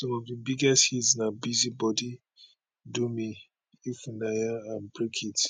some of dia biggest hits na busy body do me ifunaya and break it